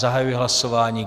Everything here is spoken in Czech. Zahajuji hlasování.